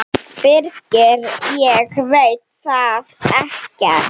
Birgir: Ég veit það ekkert.